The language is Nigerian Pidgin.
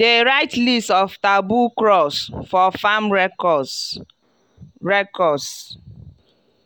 dey write list of taboo crops for farm records. records.